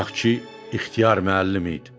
Bu bayaqkı İxtiyar müəllim idi.